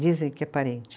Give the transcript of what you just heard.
Dizem que é parente.